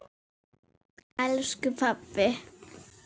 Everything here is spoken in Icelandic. elsku pabbi.